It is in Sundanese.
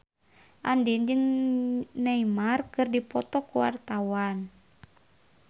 Andien jeung Neymar keur dipoto ku wartawan